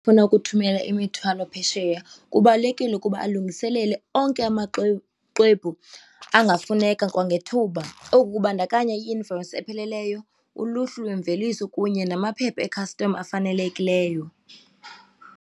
Funa ukuthumela imithwalo phesheya kubalulekile ukuba alungiselele onke amaxwebhu xwebhu angafuneke kwangethuba. Oku kubandakanya i-invoyisi epheleleyo, uluhlu lwemveliso kunye namaphepha e-custom afanelekileyo.